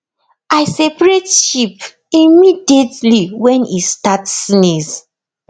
i separate sheep immediately when e start sneeze